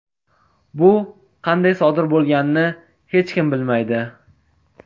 Bu qanday sodir bo‘lganini hech kim bilmaydi .